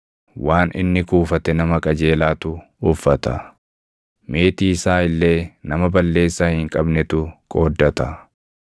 waan inni kuufate nama qajeelaatu uffata; meetii isaa illee nama balleessaa hin qabnetu qooddata.